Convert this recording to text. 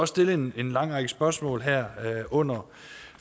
stillet en lang række spørgsmål her under